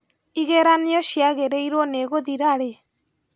Igeranio ciagĩrĩirwo nĩ gũthira rĩ?